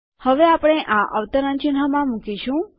હવે આપણે આ અવતરણચિહ્નમાં મુકીશું